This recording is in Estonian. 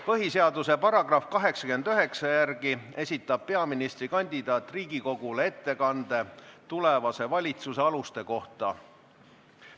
Põhiseaduse § 89 järgi esitab peaministrikandidaat Riigikogule ettekande tulevase valitsuse aluste kohta.